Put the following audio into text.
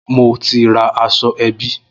Mo ti ra aṣọ ẹbí